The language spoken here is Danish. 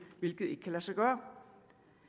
hvilket ikke kan lade sig gøre